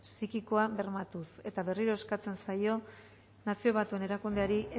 psikikoa bermatuz eta berriro eskatzen zaio nazio batuen erakundeari